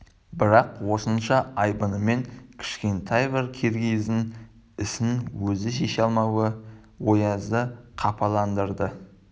бірақ осынша айбынымен кішкентай бір киргиздің ісін өзі шеше алмауы оязды қапаландырады